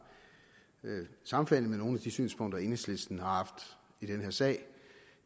sammenfaldende med nogle af de synspunkter enhedslisten har haft i den her sag